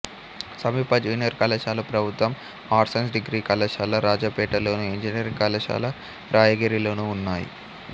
సమీప జూనియర్ కళాశాల ప్రభుత్వ ఆర్ట్స్ సైన్స్ డిగ్రీ కళాశాల రాజాపేటలోను ఇంజనీరింగ్ కళాశాల రాయిగిరిలోనూ ఉన్నాయి